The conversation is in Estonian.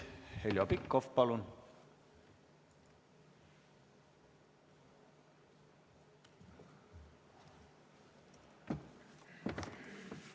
Heljo Pikhof, palun!